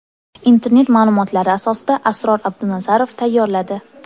Internet ma’lumotlari asosida Asror Abdunazarov tayyorladi.